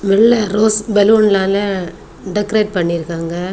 வெள்ள ரோஸ் பலூன்னால டெக்ரேட் பண்ணி இருக்காங்க.